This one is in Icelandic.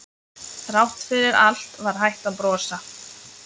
Þrátt fyrir allt var hægt að brosa.